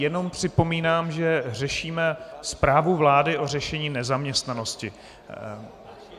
Jenom připomínám, že řešíme zprávu vlády o řešení nezaměstnanosti.